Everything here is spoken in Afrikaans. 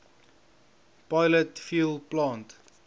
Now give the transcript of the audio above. pilot fuel plant